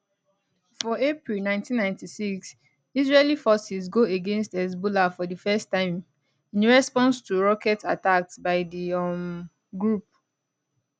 for april 1996 israeli forces go against hezbollah for di first time in response to rocket attacks by di um group